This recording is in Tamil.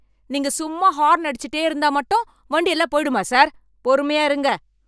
நீங்க சும்மா ஹாரன் அடிச்சிட்டே இருந்தா மட்டும் வண்டியெல்லாம் போயிடுமா, சார். பொறுமையா இருங்க.